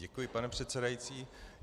Děkuji, pane předsedající.